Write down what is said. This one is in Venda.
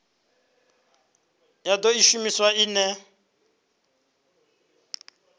ya do i shumisa ine